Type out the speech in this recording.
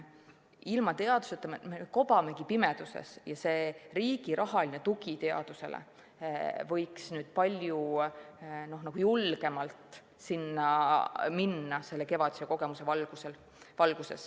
Ilma teaduseta kobame pimeduses ja riigi rahaline tugi võiks kevadise kogemuse valguses palju julgemalt sinna minna.